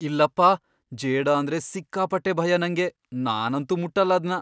ಇಲ್ಲಪ್ಪಾ! ಜೇಡ ಅಂದ್ರೆ ಸಿಕ್ಕಾಪಟ್ಟೆ ಭಯ ನಂಗೆ. ನಾನಂತೂ ಮುಟ್ಟಲ್ಲ ಅದ್ನ.